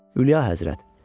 Ülyia Həzrət.